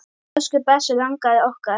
Elsku besti langafi okkar.